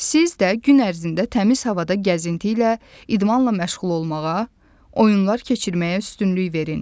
Siz də gün ərzində təmiz havada gəzinti ilə, idmanla məşğul olmağa, oyunlar keçirməyə üstünlük verin.